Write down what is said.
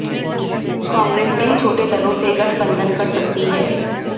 कांग्रेस कई छोटे दलों से गठबंधन कर सकती है